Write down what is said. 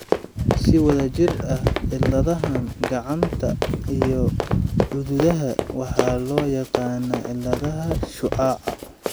Si wada jir ah, cilladahaan gacanta iyo cududaha waxaa loo yaqaannaa cilladaha shucaaca.